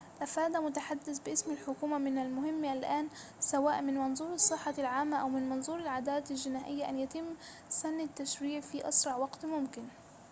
أفاد متحدثٌ باسم الحكومة من المهم الآن سواءً من منظور الصّحة العامّة أو من منظور العدالة الجنائية أن يتمّ سنّ التّشريع في أسرع وقتٍ ممكنٍ